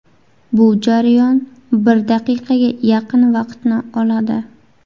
Bu jarayon bir daqiqaga yaqin vaqtni oladi.